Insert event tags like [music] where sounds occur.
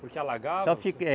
Porque alagavam? [unintelligible]